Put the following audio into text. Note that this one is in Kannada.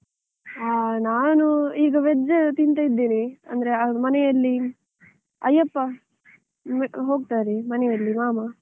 ಆ ನಾನು ಈಗ veg ತಿಂತ ಇದ್ದೇನೆ, ಅಂದ್ರೆ ಅವರು ಮನೆಯಲ್ಲಿ ಅಯ್ಯಪ್ಪ, ಹೋಗ್ತಾರೆ, ಮನೆಯಲ್ಲಿ ಮಾಮ.